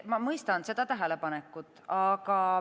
Ma mõistan seda tähelepanekut.